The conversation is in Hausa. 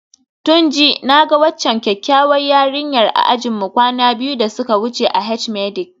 Tunji, na ga waccan kyakkyawar yarinyar a ajinmu kwana biyu da suka wuce a H-medic